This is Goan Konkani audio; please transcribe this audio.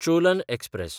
चोलन एक्सप्रॅस